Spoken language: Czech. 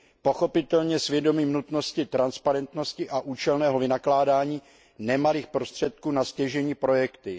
Pochopitelně s vědomím nutnosti transparentnosti a účelného vynakládání nemalých prostředků na stěžejní projekty.